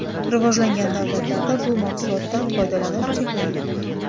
Rivojlangan davlatlarda bu mahsulotdan foydalanish cheklangan.